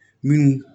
Minnu